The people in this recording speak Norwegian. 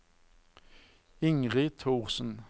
Ingrid Thorsen